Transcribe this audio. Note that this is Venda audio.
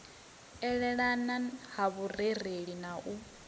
elelana ha vhurereli na u